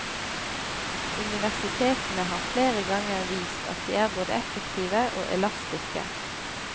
Universitetene har flere ganger vist at de er både effektive og elastiske.